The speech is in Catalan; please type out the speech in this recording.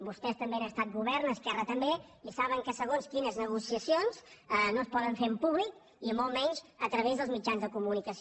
vostès també han estat govern esquerra també i saben que segons quines negociacions no es poden fer en públic i molt menys a través dels mitjans de comunicació